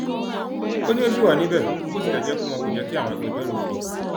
ó ní ó ṣì wà níbẹ bó tilẹ jẹ pé wọn kò jẹ kí àwọn agbẹjọrò rí i